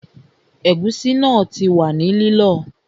Ẹ̀gúsí náà ti wà ní lílọ